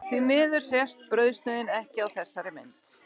Því miður sést brauðsneiðin ekki á þessari mynd.